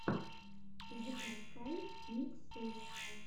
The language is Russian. запускай миксы